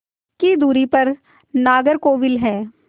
की दूरी पर नागरकोविल है